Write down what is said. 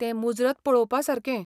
तें मुजरत पळोवपासारकें.